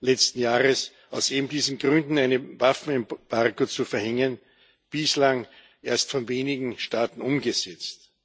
letzten Jahres, eben aus diesen Gründen ein Waffenembargo zu verhängen, bislang erst von wenigen Staaten umgesetzt.